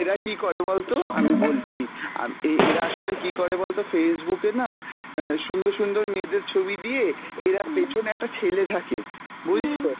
এরা কী করে বলতো আমি বলছি, আম~ এ~ এরা আসলে কী করে বলতো, Facebook এ না অ্যাঁ সুন্দর সুন্দর মেয়েদের ছবি দিয়ে এরা পেছনে একটা ছেলে থাকে, বুঝলি তো।